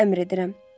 Sizə əmr edirəm.